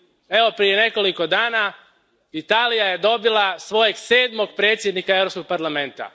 Evo, prije nekoliko dana Italija je dobila svojeg sedmog predsjednika Europskog parlamenta.